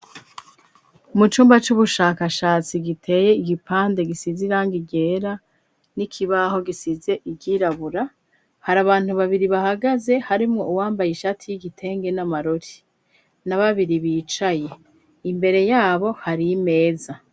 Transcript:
Mu cumba c'ubushakashatsi giteye igipande gisize irangi ryera n'ikibaho gisize iryirabura, hari abantu babiri bahagaze harimwo uwambaye ishati y'igitenge n'amarori na babiri bicaye, imbere yabo hari imeza.